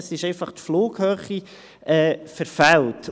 Da ist einfach die Flughöhe verfehlt.